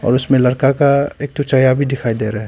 उसमें लड़का का एक ठो चेहरा भी दिखाई दे रहा है।